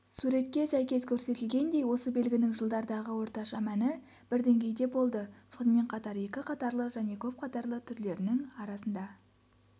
суретке сәйкес көрсетілгендей осы белгінің жылдардағы орташа мәні бір деңгейде болды сонымен қатар екі қатарлы және көп қатарлы түрлерінің арасында